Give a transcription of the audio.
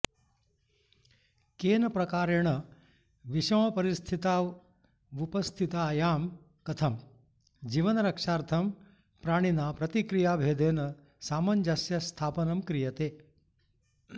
केन प्रकारेण विषमपरिस्थितावुपस्थितायां कथं जीवनरक्षार्थं प्राणिना प्रतिक्रियाभेदेन सामञ्जस्यस्थापनं क्रियते